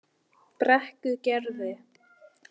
Brekkugerði